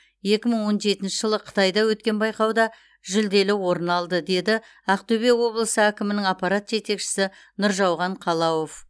екі мың он жетінші жылы қытайда өткен байқауда жүлделі орын алды деді ақтөбе облысы әкімінің аппарат жетекшісі нұржауған қалауов